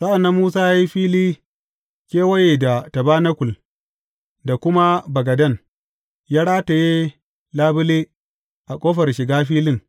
Sa’an nan Musa ya yi fili kewaye da tabanakul da kuma bagaden, ya rataye labule a ƙofar shiga filin.